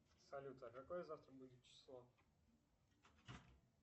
салют а какое завтра будет число